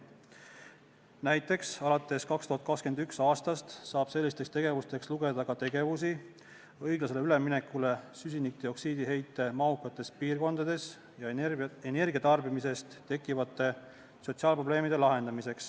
Näiteks alates 2021. aastast saab sellisteks tegevusteks lugeda ka tegevusi, mis on seotud suure CO2 heitega piirkondades teostatava õiglase üleminekuga ja energiatarbimise tõttu tekkivate sotsiaalprobleemide lahendamisega.